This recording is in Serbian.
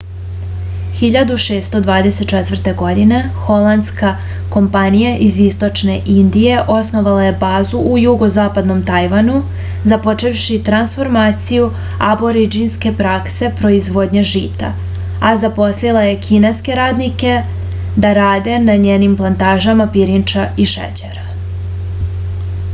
1624. godine holandska kompanija iz istočne indije osnovala je bazu u jugozapadnom tajvanu započevši transformaciju aborindžinske prakse proizvodnje žita a zaposlila je kineske radnike da rade na njenim plantažama pirinča i šećera